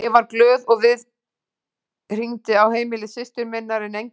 Ég varð glöð við og hringdi á heimili systur minnar en enginn svaraði.